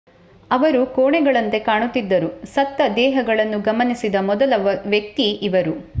ಅವರು ಕೋಣೆಗಳಂತೆ ಕಾಣುತ್ತಿದ್ದರು ಸತ್ತ ದೇಹಗಳನ್ನು ಗಮನಿಸಿದ ಮೊದಲ ವ್ಯಕ್ತಿ ಇವರು